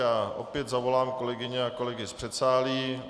Já opět zavolám kolegyně a kolegy z předsálí.